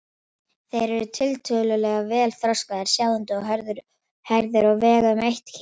Þeir eru tiltölulega vel þroskaðir, sjáandi og hærðir og vega um eitt kíló.